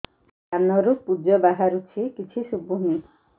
କାନରୁ ପୂଜ ବାହାରୁଛି କିଛି ଶୁଭୁନି